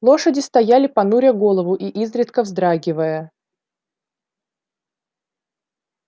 лошади стояли понуря голову и изредка вздрагивая